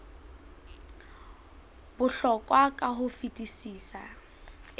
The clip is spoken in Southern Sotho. bohlokwa ka ho fetisisa e